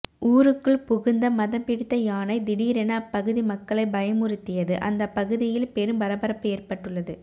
ஊருக்குள் புகுந்த மதம் பிடித்த யானை திடீரென அப்பகுதி மக்களை பயமுறுத்தியது அந்த பகுதியில் பெரும் பரபரப்பு ஏற்பட்டுள்ளது